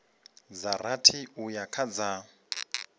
dza rathi uya kha dza